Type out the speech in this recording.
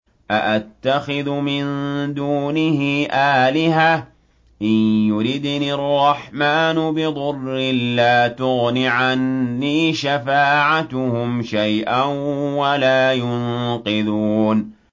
أَأَتَّخِذُ مِن دُونِهِ آلِهَةً إِن يُرِدْنِ الرَّحْمَٰنُ بِضُرٍّ لَّا تُغْنِ عَنِّي شَفَاعَتُهُمْ شَيْئًا وَلَا يُنقِذُونِ